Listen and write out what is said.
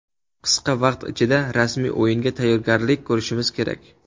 Qisqa vaqt ichida rasmiy o‘yinga tayyorgarlik ko‘rishimiz kerak.